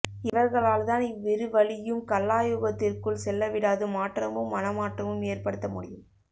இவர்களால்தான் இவ்விரு வழியும் கல்லாயுகத்திற்குள் செல்லவிடாது மாற்றமும் மனமாற்றமும் ஏற்படுத்த முடியும்